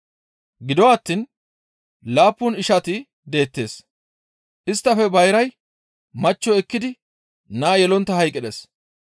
Gido attiin laappun ishantti deettes; isttafe bayray machcho ekkidi naa yelontta hayqqides.